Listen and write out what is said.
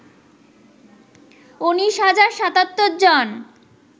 ১৯ হাজার ৭৭ জন